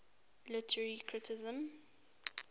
literary criticism